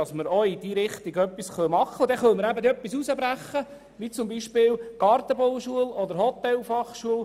Dann können wir etwas aus dem Paket herausbrechen, wie etwa die Gartenbau- oder die Hotelfachschule.